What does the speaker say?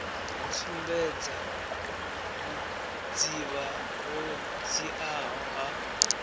sumbedza vhudzivha ho dziaho ha